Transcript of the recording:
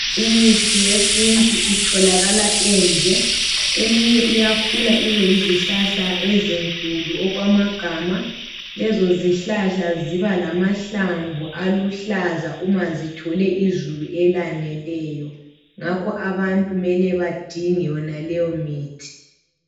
Imithi yesintu itholakala endle Eminye iyakhula ibe yizihlahla ezinkulu okwamagama Lezo zihlahla ziba lamahlamvu aluhlaza uma zithole izulu elaneleyo ngakho abantu kumele badinge leyomithi